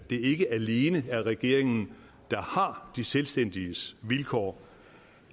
ikke alene er regeringen der har de selvstændiges vilkår